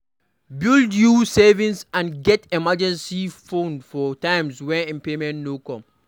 Build you savings and get emergency fund for times when payment no come.